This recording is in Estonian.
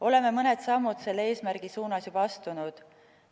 Oleme mõned sammud selle eesmärgi poole juba astunud.